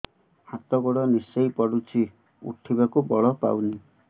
ହାତ ଗୋଡ ନିସେଇ ପଡୁଛି ଉଠିବାକୁ ବଳ ପାଉନି